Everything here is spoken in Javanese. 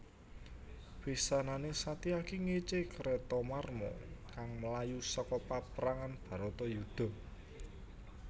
Pisanane Satyaki ngece Kretamarma kang mlayu seka paprangan Bharatayuddha